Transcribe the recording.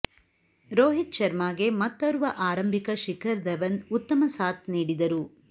ರೋಹಿತ್ ಶರ್ಮಾಗೆ ಮತ್ತೋರ್ವ ಆರಂಭಿಕ ಶಿಖರ್ ಧವನ್ ಉತ್ತಮ ಸಾಥ್ ನೀಡಿದರು